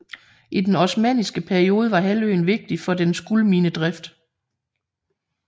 I den osmanniske periode var halvøen vigtig for dets guldminedrift